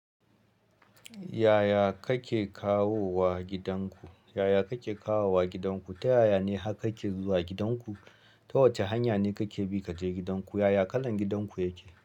Yaya kake kawowa gidanku? Yaya kake kawo wa gidanku? Ta yaya ne har kake zuwa gidanku? Ta wace hanya ne kake bi kaje gidanku? Yaya kalan gidanku yake?